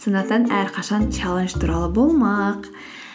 сондықтан әрқашан чаллендж туралы болмақ